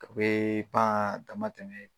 A bee paan dama tɛmɛ